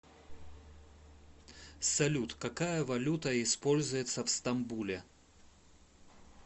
салют какая валюта используется в стамбуле